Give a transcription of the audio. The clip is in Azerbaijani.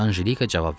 Anjelika cavab verdi.